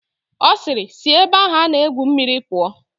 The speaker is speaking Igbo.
Ọ sịịrị, sị ebe ahụ a na-egwu mmiri pụọ!